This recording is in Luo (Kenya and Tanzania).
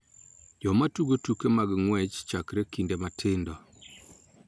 Joma tugo tuke mag ng�wech chakre kinde matindo